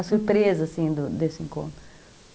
A surpresa, assim, do desse encontro.